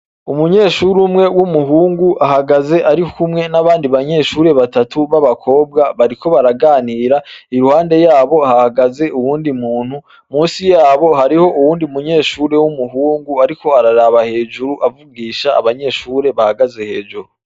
Umunyeshure umwe w'umuhungu ahagaze arikumwe n'abandi banyeshure batatu b'abakobwa, bariko baraganira, iruhande yabo hahagaze uwundi muntu, musi yabo hariho uwundi munyeshure w'umuhungu ariko araraba hejuru avugisha abanyeshure bahagaze hejuru.